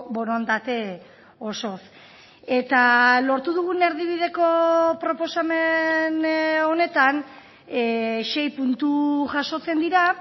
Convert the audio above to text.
borondate osoz eta lortu dugun erdibideko proposamen honetan sei puntu jasotzen dira